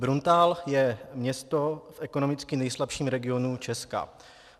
Bruntál je město v ekonomicky nejslabším regionu Česka.